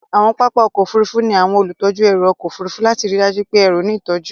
Àwọn pápá ọkọ̀ Òfurufú ní àwọn olùtọ́jú ẹrù ọkọ̀ Òfurufú lati ríi dájú pé ẹrù ní ìtọ́jú.